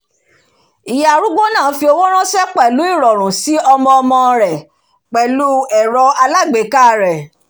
ìyá arúgbó náà fi owó ránṣẹ́ pẹ̀lú ìrọ̀rùn si ọmọ ọmọ rẹ̀ pẹ̀lú ẹ̀rọ alágbèéká rẹ̀